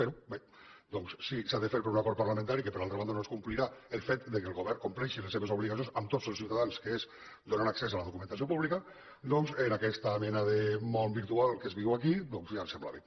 però bé doncs si s’ha de fer per un acord parlamentari que per altra banda no es complirà el fet que el govern compleixi les seves obligacions amb tots els ciutadans que és donar accés a la documentació pública doncs en aquesta mena de món virtual que es viu aquí ja em sembla bé